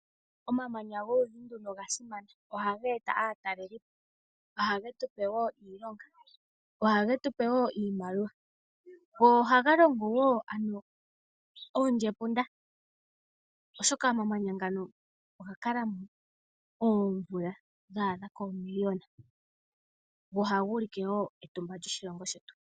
Omamanya goludhi nduka oga simana. Ohaga eta aatalelipo. Ohage tu pe wo iilonga. Ohage tu pe wo iimaliwa, go ohaga longo wo oondjepunda, oshoka omamanya ngano oga kala oomvula dha adha koomiliyona, go ohaga ulike wo etumba lyoshilongo shetu.